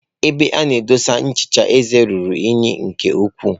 Ebe a na edosa nchicha eze ruru unyi nke ukwuu.